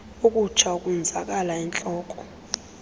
ukutsha ukonzakala entloko